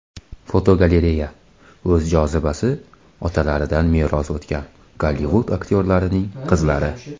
Fotogalereya: O‘z jozibasi otalaridan meros o‘tgan Gollivud aktyorlarining qizlari.